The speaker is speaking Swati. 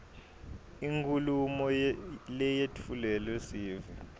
inkhulumo leyetfulelwa sive